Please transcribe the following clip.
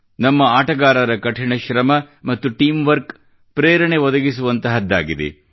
ನಮ್ಮ ಆಟಗಾರರ ಕಠಿಣ ಶ್ರಮ ಮತ್ತು ಟೀಮ್ ವರ್ಕ್ ಪ್ರೇರಣೆ ಒದಗಿಸುವಂತಹದ್ದಾಗಿದೆ